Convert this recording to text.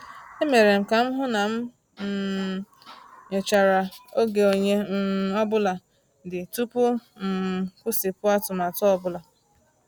E mere m ka m hụ na m um nyochara oge onye um ọ bụla dị tupu m kwụsịpụ atụmatụ ọ bụla.